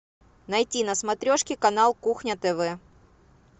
найти на смотрешке канал кухня тв